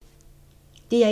DR1